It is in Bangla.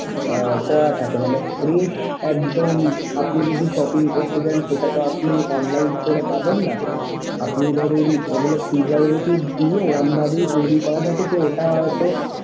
আহ করা থাকে মানে fresh একদম আপনি যদি shopping করতে চান সেটা তো আপনি online store এ পাবেন না আপনি ধরুন ওগুলো preservative দিয়ে ওরকমভাবেই তৈরি করা থাকে যে ওটা হয়তো।